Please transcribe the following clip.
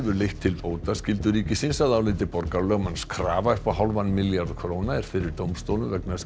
leitt til bótaskyldu ríkisins að áliti borgarlögmanns krafa upp á hálfan milljarð króna er fyrir dómstólum vegna